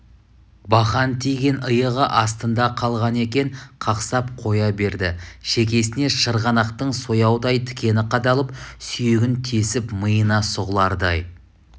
бақан тиген иығы астында қалған екен қақсап қоя берді шекесіне шырғанақтың сояудай тікені қадалып сүйегін тесіп миына сұғылардай